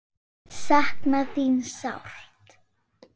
Sakna þín sárt.